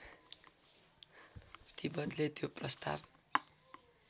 तिब्बतले त्यो प्रस्ताव